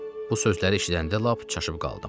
Bu sözləri eşidəndə lap çaşıb qaldım.